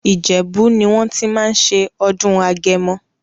Ìjẹ̀bú ni wọ́n ti máa ń ṣe ọdún Agẹmọ.